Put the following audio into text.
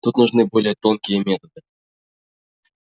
тут нужны более тонкие методы